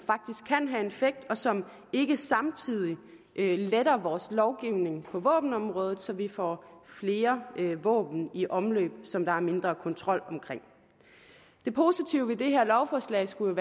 effekt og som ikke samtidig letter vores lovgivning på våbenområdet så vi får flere våben i omløb som der er mindre kontrol omkring det positive ved det her lovforslag skulle